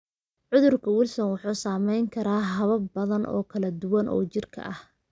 Cudurka Wilson wuxuu saameyn karaa habab badan oo kala duwan oo jirka ah.